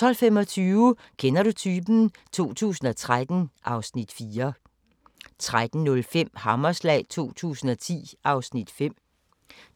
12:25: Kender du typen? 2013 (Afs. 4) 13:05: Hammerslag 2010 (Afs. 5)